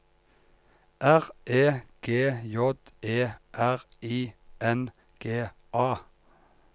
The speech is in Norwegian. R E G J E R I N G A